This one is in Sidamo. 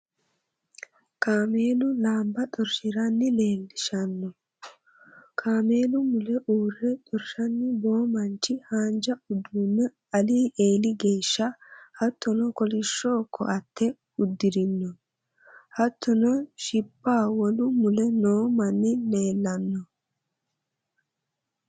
Kaameelu laanba xorhiranna leellishshanno. Kaameelu mule uurre xorshanni boo mancho haanja uduunne Ali eeli geeshsha hattono kolishsho koaatte uddirino. Hattono shibba wolu mule noo manni leellanno.